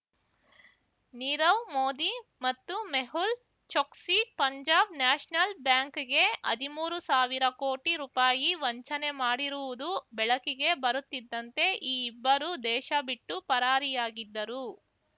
ನೀರವ್ ಮೋದಿ ಮತ್ತು ಮೆಹುಲ್ ಚೊಕ್ಸಿ ಪಂಜಾಬ್ ನ್ಯಾಷನಲ್ ಬ್ಯಾಂಕ್‌ಗೆ ಹದಿಮೂರು ಸಾವಿರ ಕೋಟಿ ರೂಪಾಯಿ ವಂಚನೆ ಮಾಡಿರುವುದು ಬೆಳಕಿಗೆ ಬರುತ್ತಿದ್ದಂತೆ ಈ ಇಬ್ಬರು ದೇಶಬಿಟ್ಟು ಪರಾರಿಯಾಗಿದ್ದರು